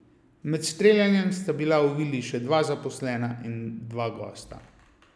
Med streljanjem sta bila v vili še dva zaposlena in dva gosta.